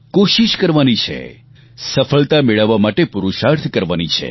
કોશિશ કરવાની છે સફળતા મેળવવા માટે પુરુષાર્થ કરવાની છે